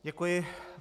Děkuji.